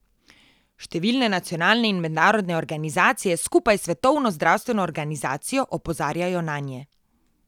Številne nacionalne in mednarodne organizacije skupaj s Svetovno zdravstveno organizacijo opozarjajo nanje.